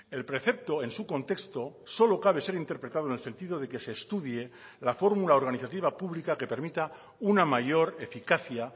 el precepto en su contexto solo cabe ser interpretado en el sentido de que se estudie la fórmula organizativa pública que permita una mayor eficacia